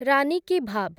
ରାନି କି ଭାଭ୍